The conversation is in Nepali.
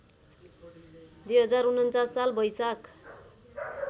२०४९ साल वैशाख